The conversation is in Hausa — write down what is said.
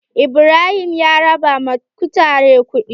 Ibrahim ya raba ma kutare kuɗi.